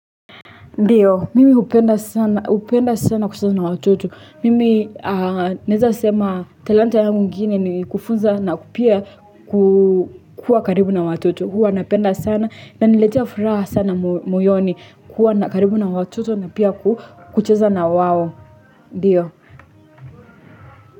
Ndiyo mimi hupenda sana hupenda sana kuhusiana na watoto mimi Naweza sema talanta yangu ingine ni kufunza na kupia kukua karibu na watoto huwa napenda sana inaniletea furaha sana muyoni kuwa na karibu na watoto na pia kucheza na wao, Ndiyo.